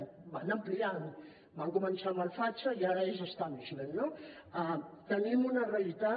ho van ampliant van començar amb el facha i ara és tenim una realitat